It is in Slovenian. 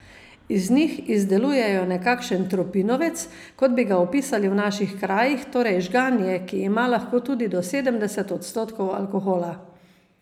Iz njih izdelujejo nekakšen tropinovec, kot bi ga opisali v naših krajih, torej žganje, ki ima lahko tudi do sedemdeset odstotkov alkohola.